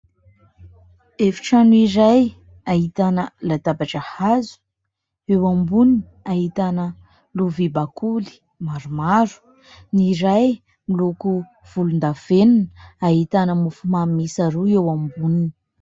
Efitrano iray ahitana latabatra hazo. Eo amboniny ahitana lovia bakoly maromaro. Ny iray miloko volon-davenina. Ahitana mofomamy miisa roa eo amboniny.